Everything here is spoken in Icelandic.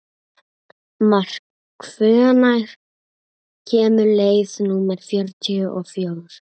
Mark, hvenær kemur leið númer fjörutíu og fjögur?